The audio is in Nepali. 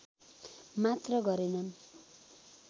मात्र गरेनन्